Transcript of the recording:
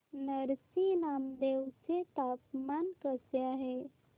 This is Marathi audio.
नरसी नामदेव चे तापमान कसे आहे